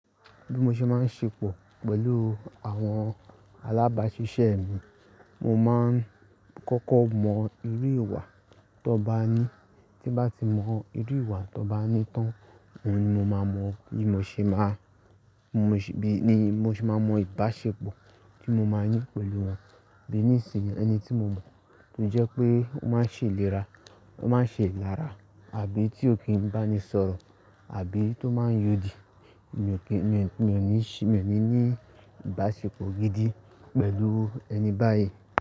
Bí mo ṣe máa ń ṣepọ̀ pẹ̀lú àwọn alábáṣiṣẹ́ mi, mo máa ń kọ́kọ́ mọ irú ìwà tó bá ní. Tí bá n ti mọ irú ìwà tó bá ní tán, ọ́un ni mo máa mọ bí mo ṣe máa, bí mo ṣe máa mọ ìbáṣepọ̀ tí mo máa ní pẹ̀lú wọn. Bí nísìnyí ẹni tí mo mọ̀, tó jẹ́ pé ó máa ń ṣe ìlera, ó máa ń ṣe ìlara àbí tí ó kì í bá mi sọ̀rọ̀ àbí tó máa ń yodì, mi ò kí, mi ò ní ṣe, mi ò ní ní ìbáṣepọ̀ gidi pẹ̀lú ẹni báyìí.